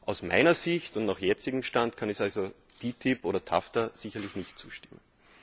Aus meiner Sicht und nach jetzigem Stand kann ich also TTIP oder TAFTA sicherlich nicht zustimmen.